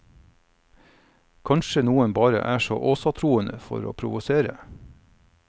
Kanskje noen bare er åsatroende for å provosere.